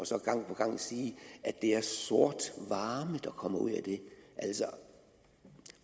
så gang på gang sige at det er sort varme der kommer ud af det